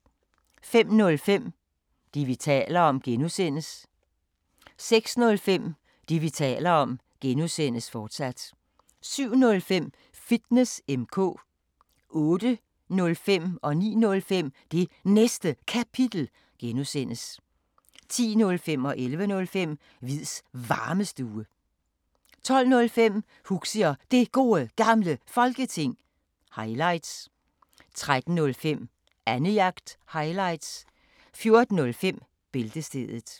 05:05: Det, vi taler om (G) 06:05: Det, vi taler om (G), fortsat 07:05: Fitness M/K 08:05: Det Næste Kapitel (G) 09:05: Det Næste Kapitel (G) 10:05: Hviids Varmestue 11:05: Hviids Varmestue 12:05: Huxi og Det Gode Gamle Folketing – highlights 13:05: Annejagt – highlights 14:05: Bæltestedet